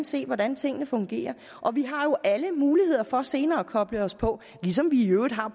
se hvordan tingene fungerer og vi har jo alle muligheder for senere at koble os på ligesom vi i øvrigt har